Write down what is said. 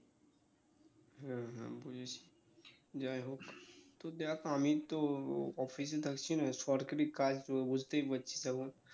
হ্যাঁ হ্যাঁ বুঝেছি যাইহোক তো দেখ আমি তো office থাকছি না সরকারি কাজ তো বুঝতেই পারছিস এখন